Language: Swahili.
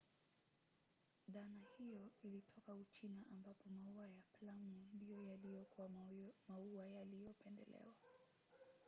dhana hiyo ilitoka uchina ambapo maua ya plamu ndiyo yaliyokuwa maua yaliyopendelewa